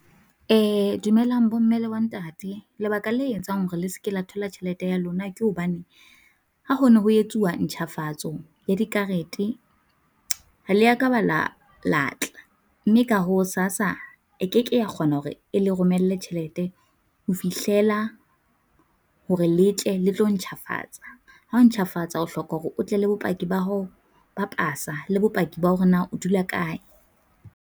Dumelang bo mme le bo ntate, lebaka la etsang hore le seke la thola tjhelete ya lona, ke hobane ha ho ne ho etsuwa ntjhafatso ya di karete, ha le ya ka ba la la tla. Mme ka hoo SASSA e keke ya kgona hore e le romelle tjhelete ho fihlela hore le tle le tlo ntjhafatsa. Ha o ntjhafatsa o hloka hore o tle le bopaki ba ho ba pasa le bopaki ba hore na o dula kae.